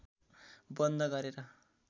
बन्द गरेर